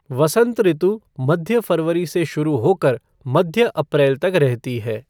वसंत ऋतु मध्य फरवरी से शुरू होकर मध्य अप्रैल तक रहता है।